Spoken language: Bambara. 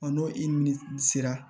n'o i ni sera